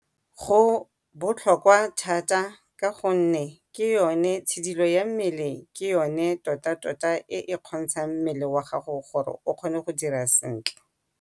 Go botlhokwa thata ka gonne tshidilo ya mmele yone tota-tota e kgontshang mmele wa gago gore o kgone go dira sentle.